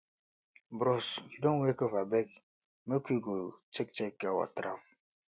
bros you don wake abeg make we go check check our trap